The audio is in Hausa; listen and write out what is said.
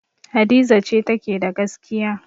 Hadiza ce take da gaskiya.